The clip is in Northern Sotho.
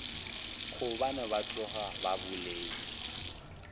gobane ba tloga ba boletše